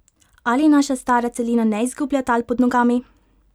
Ali naša stara celina ne izgublja tal pod nogami?